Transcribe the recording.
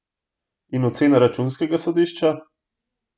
In ocena računskega sodišča?